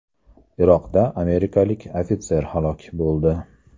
Iroqda amerikalik ofitser halok bo‘ldi.